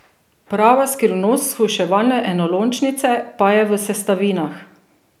Prava skrivnost shujševalne enolončnice pa je v sestavinah.